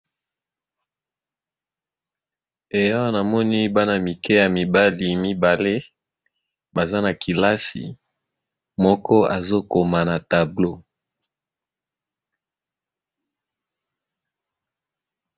Ee awa namoni bana mike ya mibali mibale baza na kelasi moko azokoma na tablo.